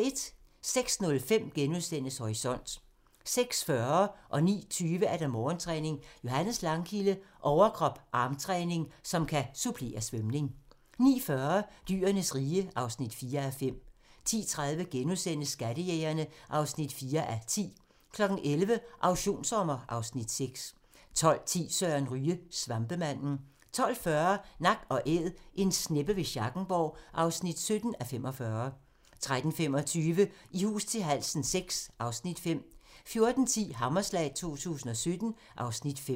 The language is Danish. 06:05: Horisont * 06:40: Morgentræning: Johannes Langkilde - overkrop/armtræning, som kan supplere svømning 09:20: Morgentræning: Johannes Langkilde - overkrop/armtræning, som kan supplere svømning 09:40: Dyrenes rige (4:5) 10:30: Skattejægerne (4:10)* 11:00: Auktionssommer (Afs. 6) 12:10: Søren Ryge: Svampemanden 12:40: Nak & Æd - en sneppe ved Schackenborg (17:45) 13:25: I hus til halsen VI (Afs. 5) 14:10: Hammerslag 2017 (Afs. 5)